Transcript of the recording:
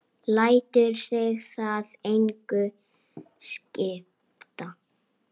Lætur sig það engu skipta.